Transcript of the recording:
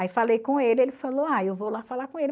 Aí falei com ele, ele falou, ah, eu vou lá falar com ele.